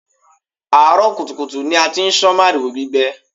Àárọ̀ kùtùkùtù ni a ti ń sán màrìwò gbígbẹ